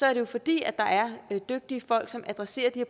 er det jo fordi der er dygtige folk som adresserer de